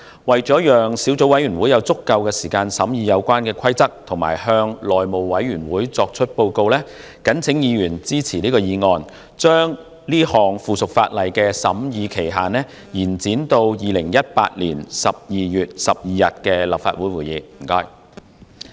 為了讓小組委員會有足夠時間審議《規則》及向內務委員會作出報告，謹請議員支持議案，將該項附屬法例的審議期限延展至2018年12月12日的立法會會議。